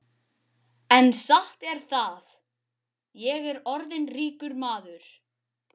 En satt er það, ég er orðinn ríkur maður.